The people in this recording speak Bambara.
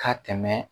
Ka tɛmɛ